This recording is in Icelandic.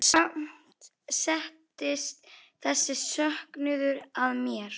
Og samt settist þessi söknuður að mér.